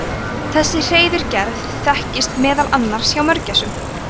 þessi hreiðurgerð þekkist meðal annars hjá mörgæsum